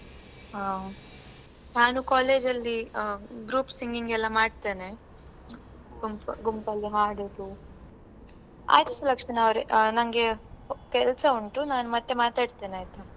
ಹಾ ನಾನು college ಅಲ್ಲಿ ಆ group singing ಎಲ್ಲಾ ಮಾಡ್ತೇನೆ. ಗುಂಪ~ ಗುಂಪಲ್ಲಿ ಹಾಡೋದು. ಆಯ್ತು ಸುಲಕ್ಷಣ ಅವ್ರೆ ಆ ನಂಗೆ ಕೆಲ್ಸ ಉಂಟು ನಾನ್ ಮತ್ತೆ ಮಾತಾಡ್ತೇನೆ ಆಯ್ತಾ?